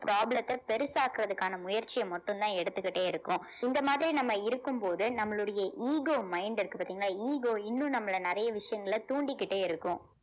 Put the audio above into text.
problem த்தை பெருசாக்குறதுக்கான முயற்சிய மட்டும்தான் எடுத்துக்கிட்டே இருக்கும் இந்த மாதிரி நம்ம இருக்கும்போது நம்மளுடைய ego mind இருக்கு பார்த்தீங்களா ego இன்னும் நம்மளை நிறைய விஷயங்கள தூண்டிக்கிட்டே இருக்கும்